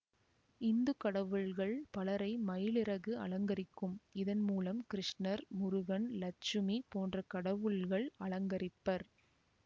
இந்து கடவுள்கள் பலரை மயிலிறகு அலங்கரிக்கும் இதன் மூலம் கிருஷ்ணர் முருகன் லட்சுமி போன்ற கடவுள்கள் அலங்கரிப்பர்